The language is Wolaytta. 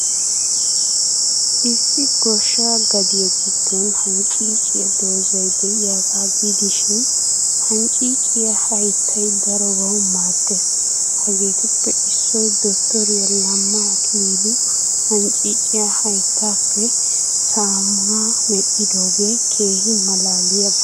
Issi goshsha gadiyaa giddon hancciiciyaa dozay de'iyaagaa gidishin, hancciiciyaa hayttay darobawu maaddees. Hegeetuppe issoy Dottoriyaa Lamma Akililu hancciiciyaa hayttaappe saamunaa medhdhidoogee keehi malaaliyaaba.